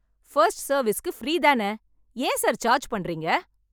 First சர்வீஸுக்கு free தான, ஏன் சார் சார்ஜ் பண்றீங்க?